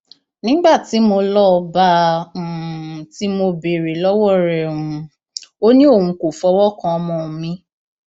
nígbà tí mo lọọ bá a um tí mo béèrè lọwọ rẹ um ò ní òun kò fọwọ kan ọmọ mi